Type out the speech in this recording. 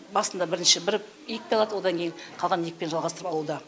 басында бірінші бір екпе алады одан кейін қалған екпені жалғастырып алуда